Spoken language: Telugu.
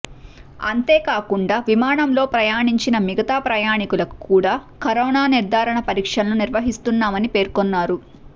అంతేకాకుండా విమానంలో ప్రయాణించిన మిగతా ప్రయాణికులకు కూడా కరోనా నిర్ధారణ పరీక్షలను నిర్వహిస్తున్నామని పేర్కొన్నారు